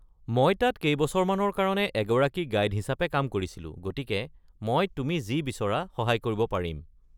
মই তাত কেইবছৰমানৰ কাৰণে এগৰাকী গাইড হিচাপে কাম কৰিছিলো গতিকে মই তুমি যি বিচৰা সহায় কৰিব পাৰিম।